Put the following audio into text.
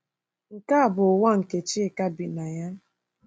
Nke a bụ ụwa nke Chika bi na ya.